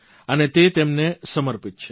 અને તે તેમને સમર્પિત છે